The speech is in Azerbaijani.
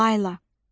Layla.